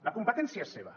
la competència és seva